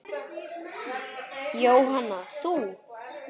Jóhanna: Þú?